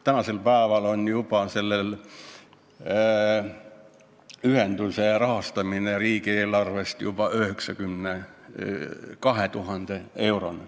Nüüd rahastatakse seda ühendust riigieelarvest juba 92 000 euroga.